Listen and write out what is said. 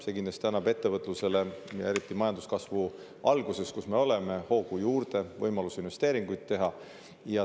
See annab ettevõtlusele, eriti majanduskasvu alguses, kus me oleme, kindlasti hoogu juurde, loob võimaluse investeeringuid teha.